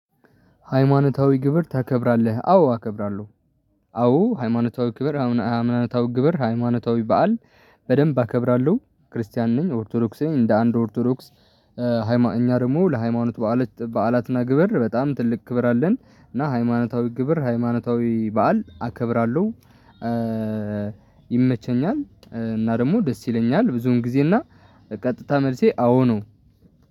ሃይማኖታዊ ግብር ታከብራለህ? አዎ አከብራለሁ፣ አዎ ሃይማኖታዊ ግብር፣ ሃይማኖታዊ በዓል፣ በደንብ አከብራለሁ ክርስቲያን ነኝ፤ ኦርቶዶክስ ነኝ። እንደ አንድ ኦርቶዶክስ እኛ ደግሞ ለሃይማኖት በዓላት፤ በዓላትና ግብር በጣም ትልቅ ክብር አለን። እና ሃይማኖታዊ ግብር፣ ሃይማኖታዊ በዓል አከብራለሁ። ይመቸኛል እና ደግሞ ደስ ይለኛል ብዙን ጊዜ። እና ቀጥታ መልሴ አዎ ነው።